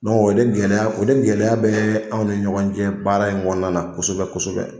o de gɛlɛya, o de gɛlɛya bɛ anw ni ɲɔgɔn cɛ baara in na kosɛbɛ kosɛbɛ.